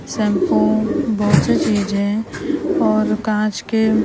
shampoo बहुत से चीज़ हैं और काँच के --